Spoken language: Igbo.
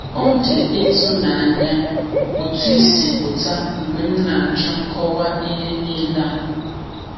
Ọ dị ịtụnanya otú ị si pụta mgbe m na-ajụ nkọwa ihe niile a.